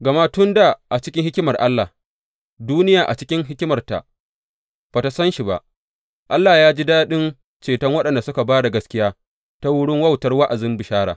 Gama tun da a cikin hikimar Allah, duniya a cikin hikimarta ba tă san shi ba, Allah ya ji daɗin ceton waɗanda suka ba da gaskiya ta wurin wautar wa’azin bishara.